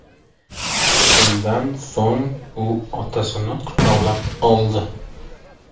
Shundan so‘ng u otasini quchoqlab oldi.